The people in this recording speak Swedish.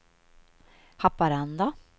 Haparanda